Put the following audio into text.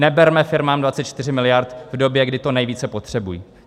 Neberme firmám 24 miliard v době, kdy to nejvíce potřebují!